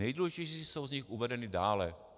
Nejdůležitější jsou z nich uvedeny dále.